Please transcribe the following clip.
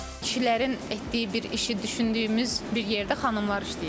Kişilərin etdiyi bir işi düşündüyümüz bir yerdə xanımlar işləyir.